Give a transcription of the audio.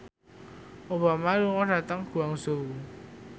Obama lunga dhateng Guangzhou